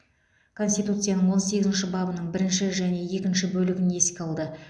конституцияның он сегізінші бабының бірінші және екінші бөлігін еске алды